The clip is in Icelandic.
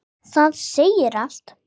Það segir allt.